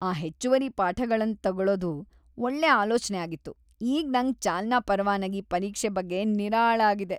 ಆ ಹೆಚ್ಚುವರಿ ಪಾಠಗಳನ್ ತಗೊಳುದು ಒಳ್ಳೆ ಆಲೋಚನೆ ಆಗಿತ್ತು.!ಈಗ ನಂಗ್ ಚಾಲನಾ ಪರವಾನಗಿ ಪರೀಕ್ಷೆ ಬಗ್ಗೆ ನಿರಾಳ ಆಗಿದೆ.